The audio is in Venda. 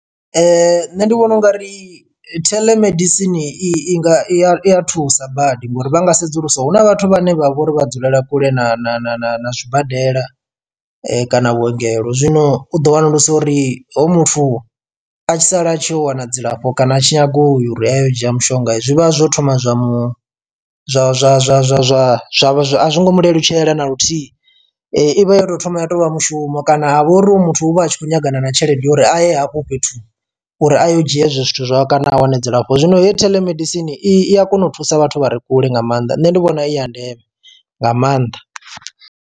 Nṋe ndi vhona ungari theḽemedisini i nga i a thusa badi ngori vha nga sedzulusa huna vhathu vhane vha vhori vha dzulela kule na na na na na zwibadela kana vhuongelo. Zwino u ḓo wanulusa uri hoyu muthu a tshi sala a tshi yo wana dzilafho kana a tshi nyaga uri a yo u dzhia mushonga zwi vha zwo thoma zwa mu zwa zwa zwa zwa zwa zwa zwa a zwo ngo mu lelutshela na luthihi. Ivha yo tou thoma ya tovha mushumo kana vho uri hoyu muthu uvha a tshi khou ṱangana na tshelede ya uri a ye hafho fhethu uri a ye u dzhia hezwi zwithu zwo kana a wane dzilafho, zwino he theḽemedisini i a kona u thusa vhathu vha re kule nga maanḓa nṋe ndi vhona i ya ndeme nga maanḓa.